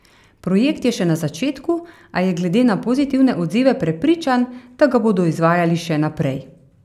Projekt je še na začetku, a je glede na pozitivne odzive prepričan, da ga bodo izvajali še naprej.